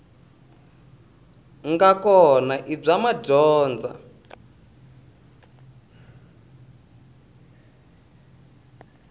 nga kona i bya madyondza